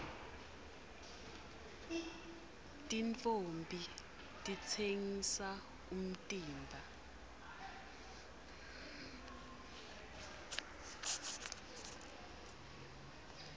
tintfombi titsengisa umtimba